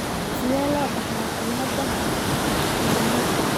Sidee loo dhaxlaa cilada Myhreka ?